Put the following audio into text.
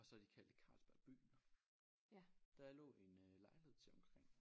Og så har de kaldet det Carlsberg Byen. Der lå en øh lejlighed til omkring